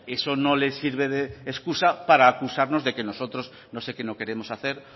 eso no les sirve de excusa para acusarnos de que nosotros no sé qué no queremos hacer